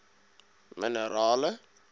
minerale